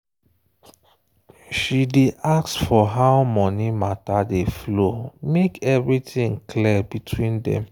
she day ask for how money matter dey flow make everything clear between dem.